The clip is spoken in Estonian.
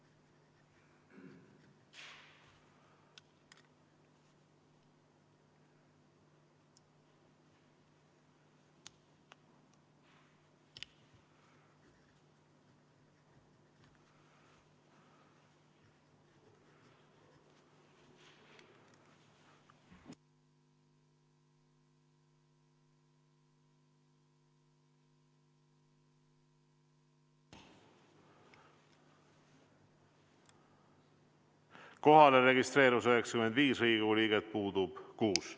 Kohalolijaks registreerus 95 Riigikogu liiget, puudub 6.